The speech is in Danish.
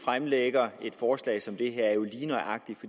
forslag som det her er jo lige nøjagtig